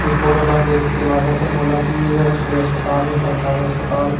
ए photo ल देख के लागा थे मोला की ये स कोई अस्पताल हे सरकारी अस्पताल--